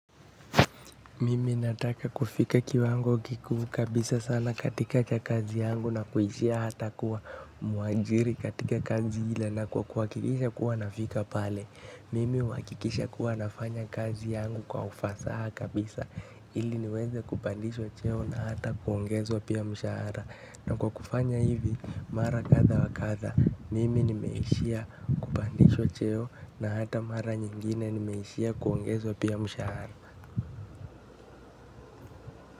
Mimi nataka kufika kiwango kikuu kabisa sana katika kazi yangu na kuishia hata kuwa muajiri katika kazi ila na kuhakikisha kuwa nafika pale. Mimi huhakikisha kuwa nafanya kazi yangu kwa ufasaha kabisa ili niweze kupandishwa cheo na hata kuongezwa pia mshahara. Na kwa kufanya hivi mara kadha wa kadha mimi nimeishia kupandishwa cheo na hata mara nyingine nimeishia kuongezwa pia mshahara.